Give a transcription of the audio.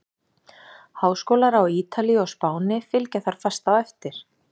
Háskólar á Ítalíu og Spáni fylgja þar fast á eftir.